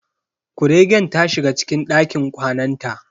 Kuregen ta shiga cikin dakin kwanan ta.